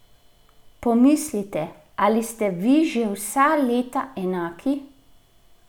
Pomislite, ali ste vi že vsa leta enaki?